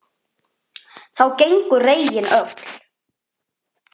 Þá gengu regin öll